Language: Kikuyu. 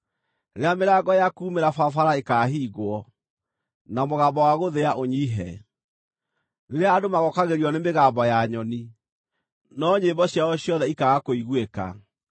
rĩrĩa mĩrango ya kuumĩra barabara ĩkaahingwo, na mũgambo wa gũthĩa ũnyiihe; rĩrĩa andũ magookagĩrio nĩ mĩgambo ya nyoni, no nyĩmbo ciao ciothe ikaaga kũiguĩka;